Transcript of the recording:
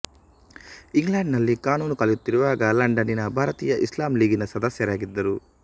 England ನಲ್ಲಿ ಕಾನೂನು ಕಲಿಯುತ್ತಿರುವಾಗ ಲಂಡನಿನ ಭಾರತೀಯ ಇಸ್ಲಾಂ ಲೀಗಿನ ಸದಸ್ಯರಾಗಿದ್ದರು